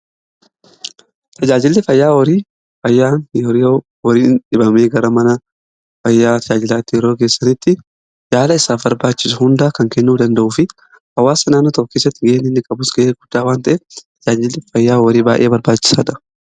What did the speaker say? Tajaajilli fayyaa horii fayyaa horiin dhibamee gara mana fayyaa tajaajilaatti yeroo geessanitti yaala isaaf barbaachisu hunda kan kennuu danda'uu fi hawaasa naannoo tokkoo keessatti gahee inni qabus gahee guddaa waan ta'eef tajaajilli fayyaa horii baayee barbaachisaadha.